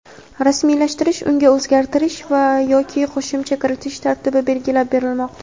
rasmiylashtirish unga o‘zgartirish va (yoki) qo‘shimcha kiritish tartibi belgilab berilmoqda.